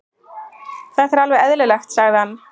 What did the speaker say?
Þetta er alveg eðlilegt, sagði hann.